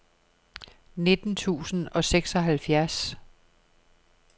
nitten tusind og seksoghalvfjerds